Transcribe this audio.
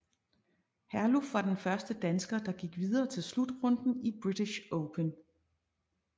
Herluf var den første dansker der gik videre til slutrunden i British Open